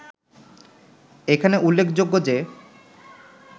এখানে উল্লেখযোগ্য যে